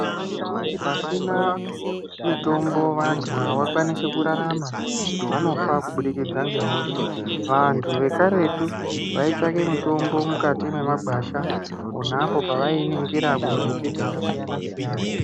Ngekutu pasina mutombo vanhu havakwanisi kurarama vanofa kubudikidza nge hosha vanhu ve karetu vaitsvake mutombo mykati me magwasha ponapo pavai iningira ku mbiti dzaka siyana siyana.